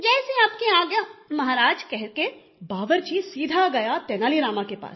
जैसी आपकी आज्ञा महाराज कहके बावर्ची सीधा गया तेनाली रामा के पास